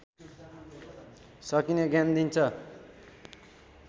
सकिने ज्ञान दिन्छ